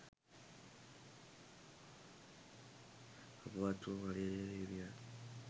අපවත් වූ මලියදේව හිමියන්